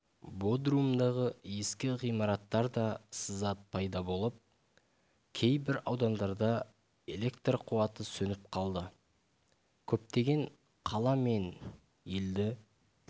бодрумдағы ескі ғимараттарда сызат пайда болып кейбір аудандарда элект қуаты сөніп қалды көптеген қала мен елді